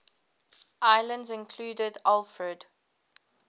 islands included alfred